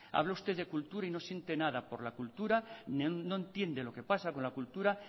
habla de usted de cultura y no siente nada por la cultura no entiende lo qué pasa con la cultura